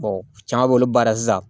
caman b'olu baara sisan